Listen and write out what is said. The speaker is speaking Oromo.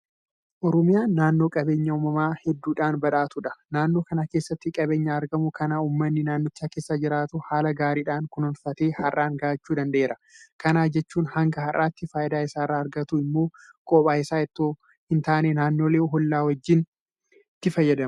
Oromiyaan naannoo qabeenya uumamaa hedduudhaan badhaatuudha. Naannoo kana keessatti qabeenya argamu kana uummanni naannicha keessa jiraatu haala gaariidhaan kunuunfatee har'aan gahachuu danda'eera. Kana jechuun hanga har'aatti faayidaa isa irraa argatu immoo qobaa isaa itoo hin taane naannolee hollaa isaa wajjin itti fayyadama.